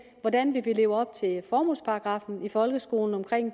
hvordan vi vil leve op til formålsparagraffen i folkeskolen om